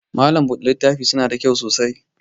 Malam buɗe littafi suna da kyau sosai